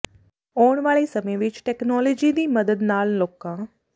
ਆਉਣ ਵਾਲੇ ਸਮੇਂ ਵਿੱਚ ਟੈਕਨੋਲੋਜੀ ਦੀ ਮਦਦ ਨਾਲ ਲੋਕਾਂ